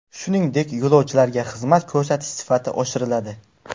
Shuningdek, yo‘lovchilarga xizmat ko‘rsatish sifati oshiriladi.